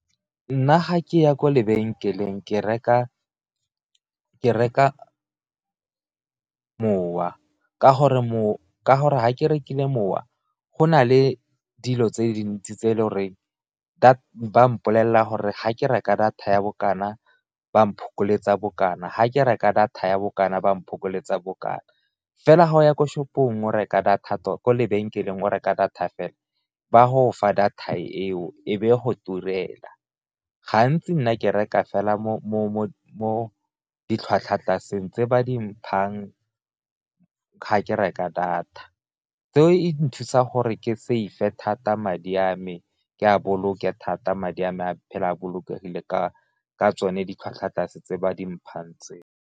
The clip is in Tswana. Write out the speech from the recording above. Nna ga ke ya kwa lebenkeleng ke reka mowa ka gore ga ke rekile mowa go na le dilo tse dintsi tse e le goreng ba mpolelela gore ga ke reka data ya bokana ba bokana, ga ke reka data ya bokana ba mo phokoletso bokana. Fela ga o ya ko lebenkeleng o reka data fela ba go fa data eo e be go turela, gantsi nna ke reka fela mo ditlhwatlhwa tlaseng tse ba di mphang ga ke reka data, tseo e nthusa gore ke save thata madi a me ke a boloke thata madi a me a phele a bolokegile ka tsone ditlhwatlhwa tlase tse ba di mphang tseo.